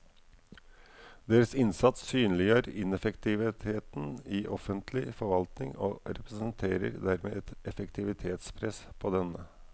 Deres innsats synliggjør ineffektiviteten i offentlig forvaltning og representerer dermed et effektivitetspress på denne.